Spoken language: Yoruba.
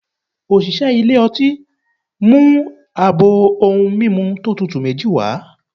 Osìsé ilé ọti ,mu abọ ohún mimú to tútú mejí wa